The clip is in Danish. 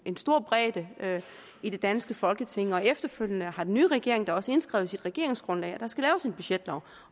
en stor bredde i det danske folketing og efterfølgende har den nye regering da også indskrevet i sit regeringsgrundlag at der skal laves en budgetlov